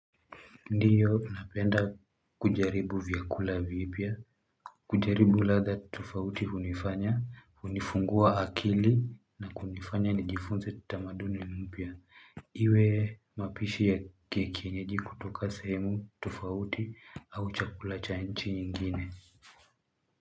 Ndio napenda kujaribu vyakula vipya, kujaribu ladha tofauti hunifanya, hunifungua akili na kunifanya nijifunze tamaduni mpya. Iwe mapishi ya kienyeji kutoka sehemu tofauti au chakula cha nchi nyingine.